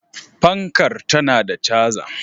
Fankar tana da caza.